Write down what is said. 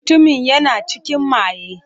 Mutumin yana cikin maye.